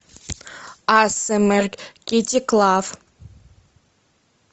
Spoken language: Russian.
асмр китти клав